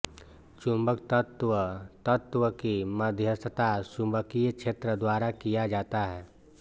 चुंबकत्व तत्व की मध्यस्थता चुंबकीय क्षेत्र द्वारा किया जाता है